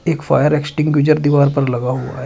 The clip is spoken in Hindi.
एक फायर एक्टिंगुसर दीवार पर लगा हुआ है।